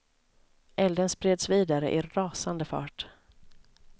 Elden spreds vidare i rasande fart.